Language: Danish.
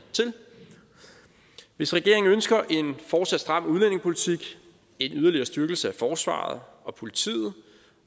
hvis regeringen ønsker en fortsat stram udlændingepolitik en yderligere styrkelse af forsvaret og politiet